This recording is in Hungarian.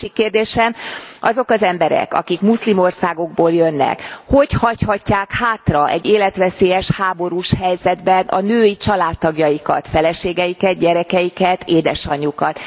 Másik kérdésem azok az emberek, akik muszlim országokból jönnek, hogy hagyhatják hátra egy életveszélyes háborús helyzetben a női családtagjaikat, feleségeiket, gyerekeiket, édesanyjukat?